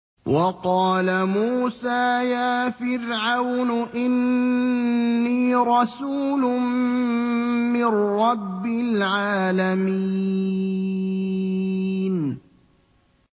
وَقَالَ مُوسَىٰ يَا فِرْعَوْنُ إِنِّي رَسُولٌ مِّن رَّبِّ الْعَالَمِينَ